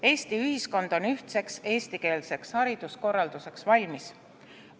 Eesti ühiskond on ühtseks eestikeelseks hariduskorralduseks valmis.